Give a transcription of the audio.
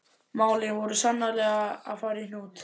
Málin voru sannarlega að fara í hnút.